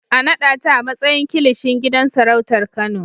A naɗa ta a matsayin Kilishin gidan sarautar Kano!